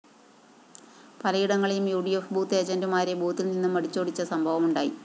പലയിടങ്ങളിലും U D F booth ഏജന്റുമാരെ ബൂത്തില്‍ നിന്നും അടിച്ചോടിച്ച സംഭവമുണ്ടായി